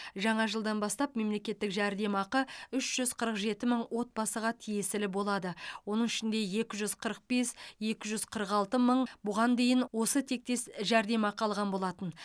жаңа жылдан бастап мемлекеттік жәрдемақы үш жүз қырық жеті мың отбасыға тиесілі болады оның ішінде екі жүз қырық бес екі жүз қырық алты мың бұған дейін осы тектес жәрдемақы алған болатын